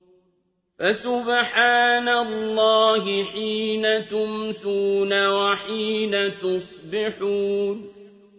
فَسُبْحَانَ اللَّهِ حِينَ تُمْسُونَ وَحِينَ تُصْبِحُونَ